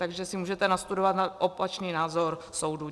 Takže si můžete nastudovat opačný názor soudu.